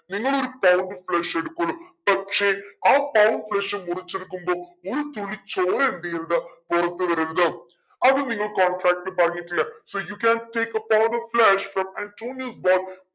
നിങ്ങളൊരു പകുതി flesh എടുക്കുള്ളു പക്ഷെ ആ flesh മുറിച്ചെടുക്കുമ്പോ ഒരു തുള്ളി ചോര വീഴരുത് പുറത്ത് വരരുത്. അത് നിങ്ങൾ contract ൽ പറഞ്ഞിട്ടില്ലേ you can take a part of flesh